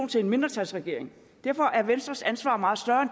til en mindretalsregering derfor er venstres ansvar meget større